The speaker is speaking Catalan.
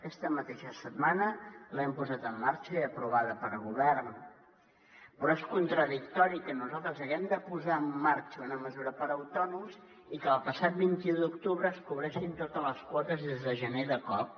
aquesta mateixa setmana l’hem posat en marxa i aprovada pel govern però és contradictori que nosaltres haguem de posar en marxa una mesura per a autònoms i que el passat vint un d’octubre es cobressin totes les quotes des de gener de cop